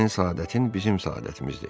Sənin səadətin bizim səadətimizdir.